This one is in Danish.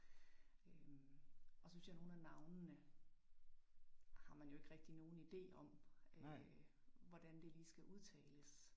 Øh og så synes jeg nogen af navnene har man jo ikke rigtig nogen idé om øh hvordan det lige skal udtales